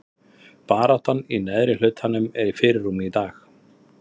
Baráttan í neðri hlutanum er í fyrirrúmi í dag.